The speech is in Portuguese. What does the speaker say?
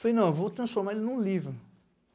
Falei, não, eu vou transformar ele em um livro.